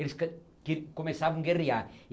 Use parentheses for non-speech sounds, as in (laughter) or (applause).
Eles (unintelligible) começavam a guerrear.